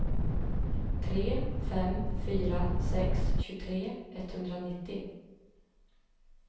tre fem fyra sex tjugotre etthundranittio